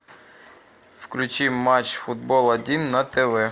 включи матч футбол один на тв